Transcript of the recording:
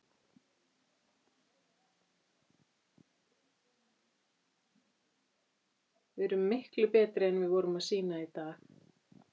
Við erum miklu betri en við vorum að sýna í dag.